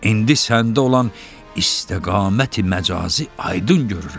İndi səndə olan istiqa məcazi aydın görürəm.